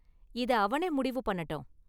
இத அவனே முடிவு பண்ணட்டும்.